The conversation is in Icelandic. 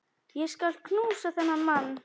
Ég skal knúsa þennan mann!